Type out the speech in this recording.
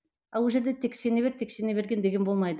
ал ол жерде тек сене бер тек сене бер деген болмайды